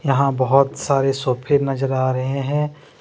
यहां बहुत सारे सोफ़ा नजर आ रहे हैं।